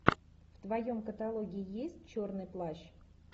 в твоем каталоге есть черный плащ